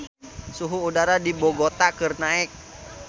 Suhu udara di Bogota keur naek